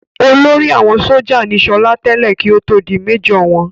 Olórí àwọn sójà ní sọlá tẹ́lẹ̀ kí ó tó di méjọ̀ wọn